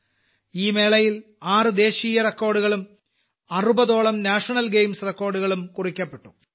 ഈ മേളയിൽ ആറ് ദേശീയ റെക്കോർഡുകളും അറുപതോളം നേഷണൽ ഗെയിംസ് റെക്കോർഡുകളും കുറിക്കപ്പെട്ടു